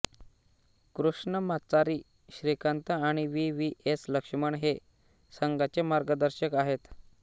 कृष्णम्माचारी श्रीकांत आणि V V S Laxman हे संघाचे मार्गदर्शक आहेत